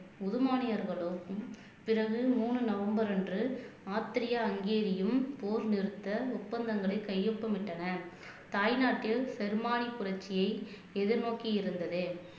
உதுமானியர்களுக்கும் பிறகு மூணு நவம்பர் அன்று ஆஸ்த்ரிய ஹங்கேரியும் போர் நிறுத்த ஒப்பந்தங்களை கையொப்பமிட்டனர் தாய்நாட்டில் ஜெர்மானிய புரட்சியை எதிர்நோக்கி இருந்தது